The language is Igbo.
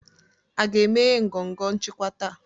A ga-emeghe ngọngọ nchịkwa taa?